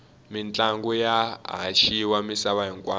mintlangu ya haxiwa misava hinkwayo